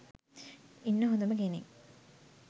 ඉන්න හොඳම කෙනෙක්